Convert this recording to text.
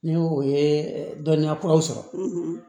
Ni o ye dɔnniya kuraw sɔrɔ